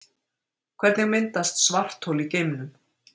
Hvernig myndast svarthol í geimnum?